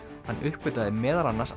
hann uppgötvaði meðal annars